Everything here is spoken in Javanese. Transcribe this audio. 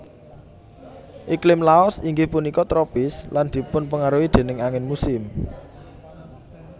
Iklim Laos inggih punika tropis lan dipunpengaruhi déning angin musim